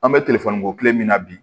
An bɛ telefɔni bɔ tile min na bi